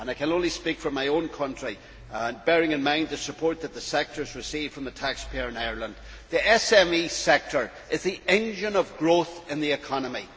I can only speak for my own country, but bearing in mind the support that the SME sector has received from the taxpayer in Ireland, that sector is the engine of growth in the economy.